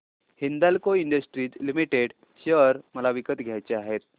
Hindalco industries limited share मला विकत घ्यायचे आहेत